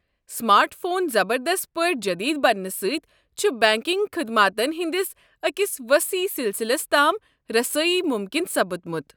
Smart phone زبردست پٲٹھۍ جدید بننہٕ سٕتۍ، چھُ بنٛکنٛگ خدماتن ہٕنٛدس أکس ؤسیٖع سِلسلس تام رسٲیی مُمكِن سپُدمُت۔